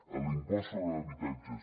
en l’impost sobre habitatges